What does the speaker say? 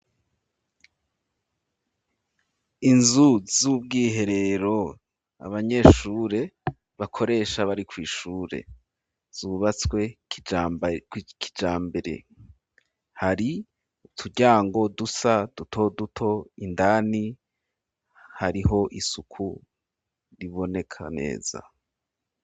Inzu z'ubwiherero abanyeshure bakoresha bari kw'ishure zubatswe kijambere hari uturyango dusa duto duto indani hariho isuku riboneka neza.